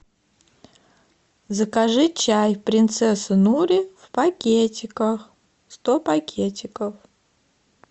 закажи чай принцесса нури в пакетиках сто пакетиков